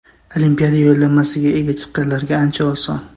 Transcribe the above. Olimpiada yo‘llanmasiga ega chiqqanlarga ancha oson.